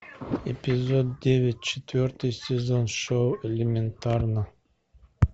эпизод девять четвертый сезон шоу элементарно